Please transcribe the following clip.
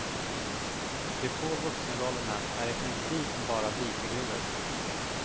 De få vuxenrollerna är i princip bara bifigurer.